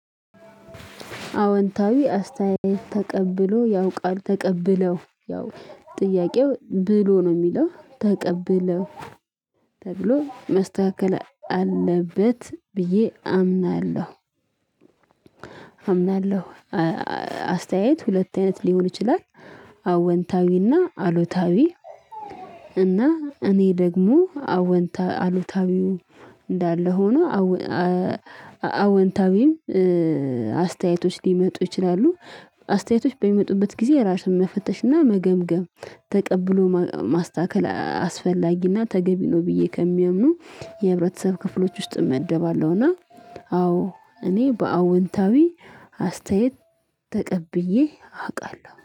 አወንታዊ አስተያየት ተቀብሎ ያው ቃል ተቀብለው ያው ጥያቄው ብሎ ነው የሚለው ተቀብለው ተብሎ መስተካከል አለበት ብዬ አምናለሁ። አምናለሁ አስተያየት ሁለት አይነት ሊሆን ይችላል። አወንታዊና አሉታዊ። እና እኔ ደግሞ አወንታዊ አሉታዊው እንዳለ ሆኖ። አወንታዊም አስተያየቶች ሊመጡ ይችላሉ። አስተያየቶች በሚመጡበት ጊዜ ራሱን መፈተሽና መገምገም ተቀብሎ ማስተካከል አስፈላጊና ተገቢ ነው። ብዬ ከሚያምኑ የህብረተሰብ ክፍሎች ውስጥ እመደባለሁና። አዎ እኔ በአዎንታዊ አስተያየት ተቀብዬ አውቃለሁ